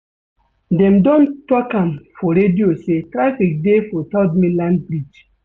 Dem don tok am for radio sey traffic dey for third mainland bridge.